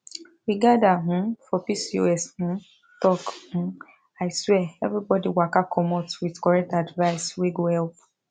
we gather um for pcos um talk um aswear everybody waka commot with correct advice wey go help